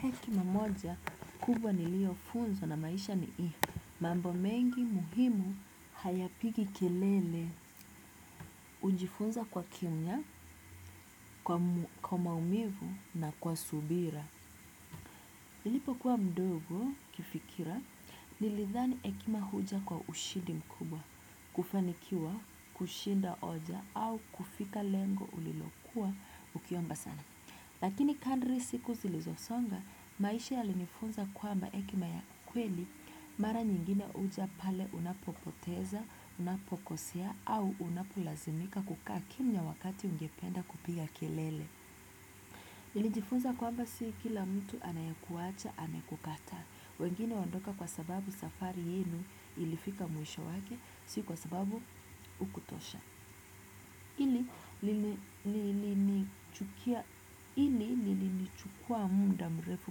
Hekima moja, kubwa niliyo funzwa na maisha ni hii. Mambo mengi muhimu hayapigi kelele, hujifunza kwa kimya, kwa maumivu na kwa subira. Nilipo kuwa mdogo kifikira, nilidhani hekima huja kwa ushidi mkubwa, kufanikiwa, kushinda hoja au kufika lengo ulilokuwa ukiomba sana. Lakini kandri siku zilizosonga, maisha ya linifunza kwamba hekima ya kweli, mara nyingine huja pale unapopoteza, unapokosea, au unapulazimika kukaa kimya wakati ungependa kupiga kelele. Nilijifunza kwamba si kila mtu anayekuacha amekukataa, wengine waondoka kwa sababu safari yenu ilifika mwisho wake, si kwa sababu hukutosha. Hili nilinichukua munda mrefu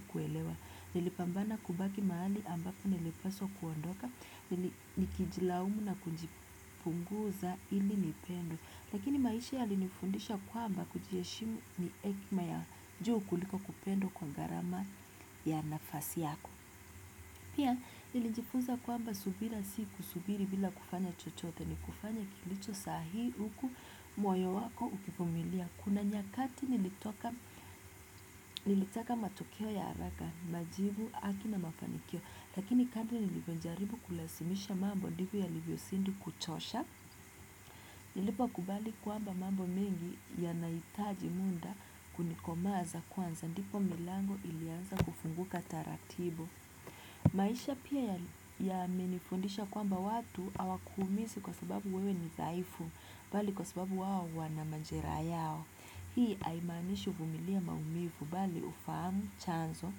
kuelewa, nilipambana kubaki mahali ambako nilipaswa kuondoka, nikijilaumu na kujifunguza hili nipendwe. Lakini maisha yalinifundisha kwamba kujiheshimu ni hekima ya juu kuliko kupendwa kwa gharama ya nafasi yako. Pia, nilijifunza kwamba subira si kusubiri bila kufanya chochote, ni kufanya kilicho sahihi huku moyo wako ukivumilia. Kuna nyakati nilitaka matokeo ya haraka majibu haki na mafanikio. Lakini kadiri nilipojaribu kulazimisha mambo ndivyo yalivyozidi kuchosha. Nilipo kubali kwamba mambo mingi yanahitaji muda kunikomaza kwanza. Ndipo milango ilianza kufunguka taratibu. Maisha pia ya menifundisha kwamba watu hawakuumizi kwa sababu wewe ni dhaifu. Bali kwa sababu wao wana majeraha yao. Hii haimanishi uvumilie maumivu. Bali ufahamu chanzo.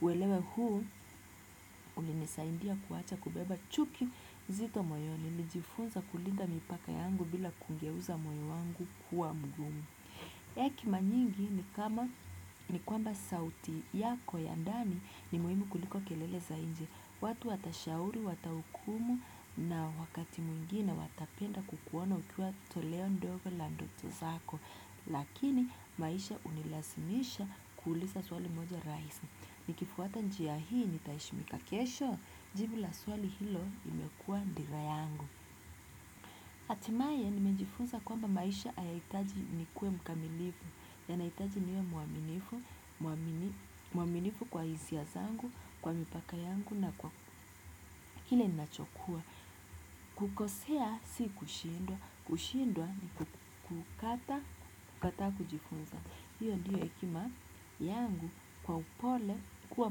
Uelewe huu ulinisaidia kuacha kubeba chuki nzito moyoni. Nijifunza kulinda mipaka yangu bila kungeuza moyo wangu kuwa mgumu. Hekima nyingi ni kama ni kwamba sauti yako ya ndani ni muhimu kuliko kelele za nje. Watu watashauri, watahukumu na wakati mwingine watapenda kukuona ukiwa toleo ndogo la ndoto zako. Lakini maisha hunilazimisha kuuliza swali moja rahis nikifuata njia hii nitaheshimika kesho jibu la swali hilo imekua dira yangu. Htimaye nimenjifunza kwamba maisha hayaitaji nikuwe mkamilifu, yanahitaji niwe muaminifu kwa hisia zangu, kwa mipaka yangu na kwa hile nachokua. Kukosea si kushindwa, kushindwa ni kukataa kujifunza. Hiyo ndiyo hekima yangu kwa upole kuwa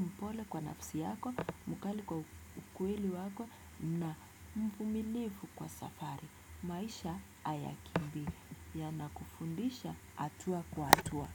mpole kwa nafsi yako mpole kwa ukweli wako na mvumilifu kwa safari. Maisha hayakimbii ya nakufundisha atua kwa atua.